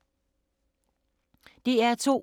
DR2